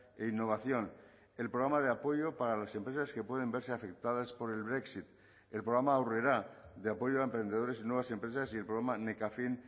e innovación el programa de apoyo para las empresas que pueden verse afectadas por el brexit el programa aurrera de apoyo a emprendedores y nuevas empresas y el programa nekafin